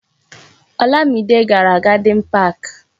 Olamide gàrà na Garden Park